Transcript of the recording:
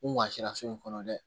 U maa sera so in kɔnɔ dɛ